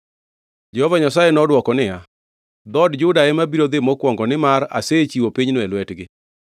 Jehova Nyasaye nodwoko niya, “Dhood Juda ema biro dhi mokwongo; nimar asechiwo pinyno e lwetgi.”